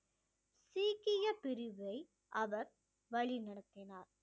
சீக்கிய பிரிவை அவர் வழி நடத்தினார்